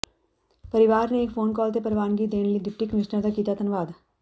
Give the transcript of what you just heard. ਪਰਿਵਾਰ ਨੇ ਇੱਕ ਫ਼ੋਨ ਕਾਲ ਤੇ ਪ੍ਰਵਾਨਗੀ ਦੇਣ ਲਈ ਡਿਪਟੀ ਕਮਿਸ਼ਨਰ ਦਾ ਕੀਤਾ ਧੰਨਵਾਦ